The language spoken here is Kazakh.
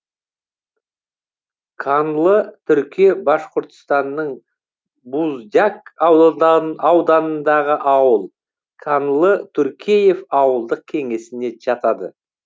канлы турке башқұртстанның буздяк аудан ауданындағы ауыл канлы туркеев ауылдық кеңесіне жатады